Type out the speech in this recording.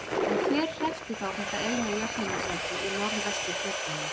En hver hreppti þá þetta eina jöfnunarsæti í Norðvesturkjördæmi?